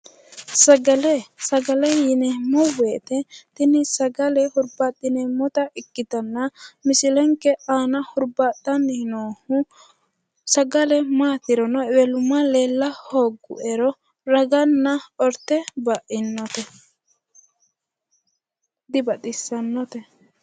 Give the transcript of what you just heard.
Sagale. Sagale yineemmo woyite tini sagale hurbaaxxineemmota ikkitanna misilenke aana hurbaaxxanni noohu sagale maatirono ewelumma leella hoogguerono raganna orte baino. Dibaxissannote.